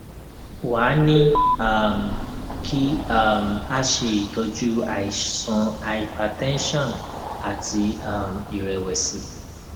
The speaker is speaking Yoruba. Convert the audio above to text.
wá a ní um kí um a ṣe itọju àìsàn hypertension àti um ìrẹwẹsì